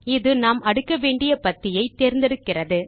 இது நாம் அடுக்க வேண்டிய பத்தியை தேர்ந்தெடுக்கிறது